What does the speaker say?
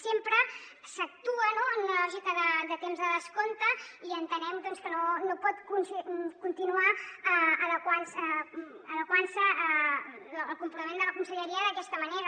sempre s’actua no en la lògica de temps de descompte i entenem doncs que no pot continuar adequant se el comportament de la conselleria d’aquesta manera